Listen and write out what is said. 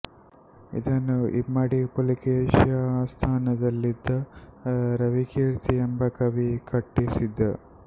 ಇದನ್ನು ಇಮ್ಮಡಿ ಪುಲಿಕೇಶಿಯ ಆಸ್ಥಾನದಲ್ಲಿದ್ದ ರವಿಕೀರ್ತಿ ಎಂಬ ಕವಿ ಕಟ್ಟಿಸಿದ